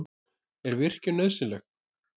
Er virkjun nauðsynleg?